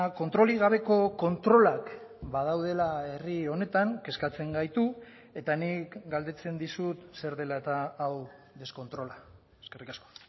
kontrolik gabeko kontrolak badaudela herri honetan kezkatzen gaitu eta nik galdetzen dizut zer dela eta hau deskontrola eskerrik asko